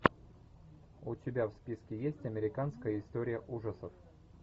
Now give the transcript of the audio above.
у тебя в списке есть американская история ужасов